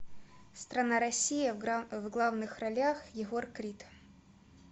страна россия в главных ролях егор крид